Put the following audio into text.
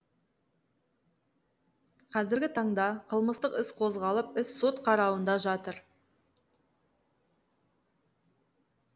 қазіргі таңда қылмыстық іс қозғалып іс сот қарауында жатыр